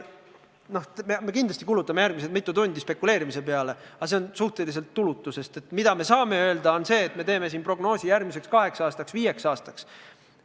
Kindlasti kulutame järgmised mitu tundi spekuleerimise peale, aga see on suhteliselt tulutu, sest me saame prognoose teha üksnes järgmiseks kaheks aastaks, viieks aastaks.